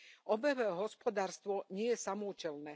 Obehové hospodárstvo nie je samoúčelné.